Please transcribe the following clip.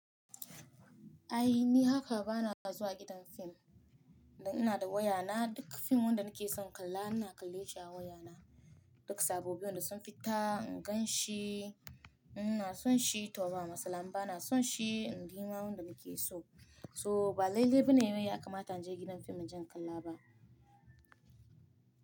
Ai ni haka bana zuwa gidan fim, dan ina da waya na duk fim wanda nake son kalla ina kalle shi a waya na. Duk sabobbi wanda sun fita in gan shi, ina son shi to ba matsala, in bana son shi in gina wanda nake so. So ba lailai bane wai ya kamata in je gidan fim in je kalla ba.